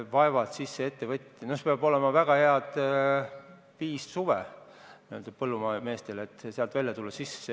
Põllumeestel peab olema viis väga head suve, et sellest olukorrast välja tulla.